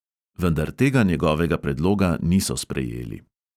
Vendar tega njegovega predloga niso sprejeli.